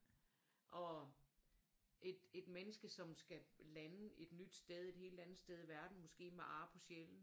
Og et menneske som skal lande et nyt sted et helt andet sted i verden måske med ar på sjælen